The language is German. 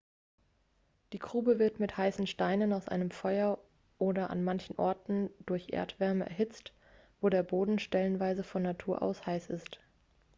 die grube wird mit heißen steinen aus einem feuer oder an manchen orten durch erdwärme erhitzt wo der boden stellenweise von natur aus heiß ist